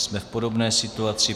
Jsme v podobné situaci.